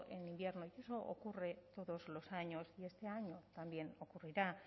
en invierno y eso ocurre todos los años y este año también ocurrirá